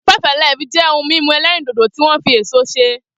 Five Alive jẹ́ ohun mímu ẹlẹ́rìndòdò tí wọ́n fi èso ṣe